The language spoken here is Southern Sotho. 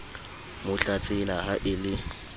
mo tlatsela ha e le